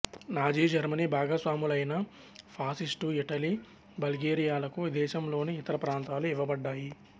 Nazi Germany భాగస్వాములైన fascist Italy బల్గేరియాలకు దేశంలోని ఇతర ప్రాంతాలు ఇవ్వబడ్డాయి